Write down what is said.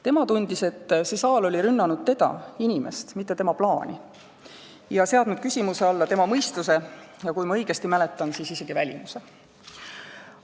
Tema tundis, et see saal oli rünnanud teda, inimest, mitte tema plaani, ning seadnud küsimuse alla tema mõistuse, ja kui ma õigesti mäletan, siis isegi välimuse.